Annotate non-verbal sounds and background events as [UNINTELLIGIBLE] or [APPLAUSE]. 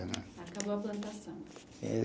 Acabou a plantação. [UNINTELLIGIBLE]